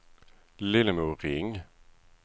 Lillemor Ring